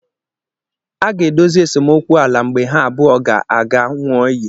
A ga-edozi esemokwu ala mgbe ha abụọ ga-aga ṅụọ iyi